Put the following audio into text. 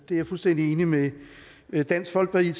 jeg fuldstændig enig med med dansk folkeparti i